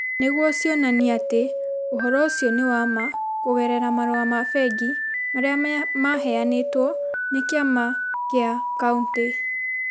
nĩguo cionanie atĩ ũhoro ũcio nĩ wa ma kũgerera marũa ma bengi marĩa maheanĩtwo nĩ kĩama kĩa kauntĩ.